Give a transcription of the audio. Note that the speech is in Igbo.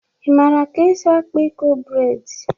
Ị mara ka esi akpa Eko breds?